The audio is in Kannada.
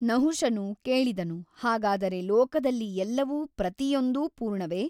ನಹುಷನು ಕೇಳಿದನು ಹಾಗಾದರೆ ಲೋಕದಲ್ಲಿ ಎಲ್ಲವೂ ಪ್ರತಿಯೊಂದೂ ಪೂರ್ಣವೆ ?